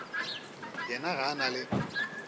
yena ga a na le